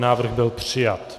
Návrh byl přijat.